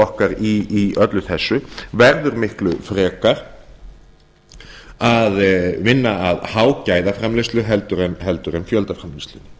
okkar í öllu þessu verður miklu frekar að vinna að hágæðaframleiðslu heldur en fjöldaframleiðslu